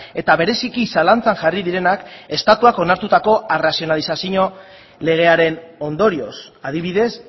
eta bereziki zalantzan jarri direnak estatuak onartutako arrazionalizazio legearen ondorioz adibidez